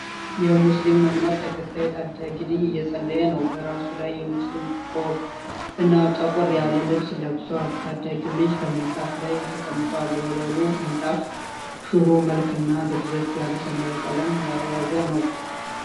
የሙስሊም እምነት ተከታይ ታዳጊ ልጅ እየፀለየ ነዉ። በራሱ ላይ የሙስሊም ቆብ እና ጠቆር ያለ ልብስ ለብሷል። ታዳጊዉ ልጅ ከምንጣፉ ላይ ተቀምጧል። የወለሉ ምንጣፍ ሽሮ መልክ እና ደብዘዝ ያለ ሰማያዊ ቀለም የያዘ ነዉ።